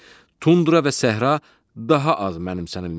Tundra və səhra daha az mənimsənilmişdir.